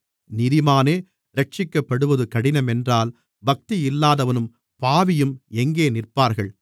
நீதிமானே இரட்சிக்கப்படுவது கடினமென்றால் பக்தியில்லாதவனும் பாவியும் எங்கே நிற்பார்கள்